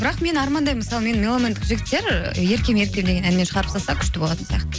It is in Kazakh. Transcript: бірақ мен армандаймын мысалы мені меломандық жігіттер еркем еркем деген әнімен шығарып салса күшті болатын сияқты